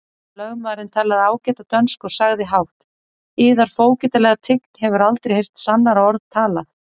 Lögmaðurinn talaði ágæta dönsku og sagði hátt:-Yðar fógetalega tign hefur aldrei heyrt sannara orð talað!